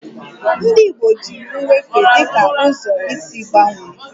Ndị Igbo jiri nwefe dị ka ụzọ isi gbanwee